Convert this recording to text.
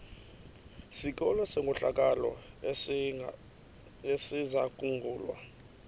sikolo senkohlakalo esizangulwa